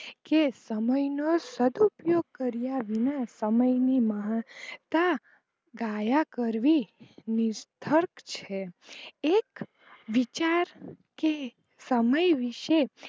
કે સમય નો સદુપયોગ કર્યા વિના સમયને માણતા કાયા ગયા કરવી નિષ્ટક છે એક કે વિચાર કે સમય વિષે